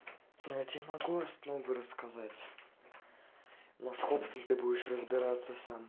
я тебе могу основы рассказать но с ковсом ты будешь разбираться сам